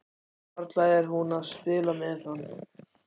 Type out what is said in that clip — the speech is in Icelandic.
Varla er hún að spila með hann?